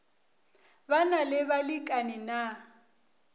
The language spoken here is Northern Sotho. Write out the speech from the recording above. ba na le balekani na